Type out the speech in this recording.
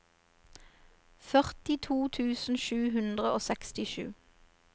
førtito tusen sju hundre og sekstisju